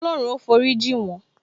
Olorun ó forí jin won